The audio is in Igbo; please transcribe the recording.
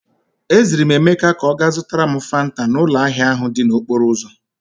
E ziri m Emeka ka ọ gaa zụtara m Fanta n'ụlọ ahịa ahụ dị n'okporo ụzọ.